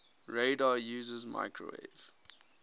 radar uses microwave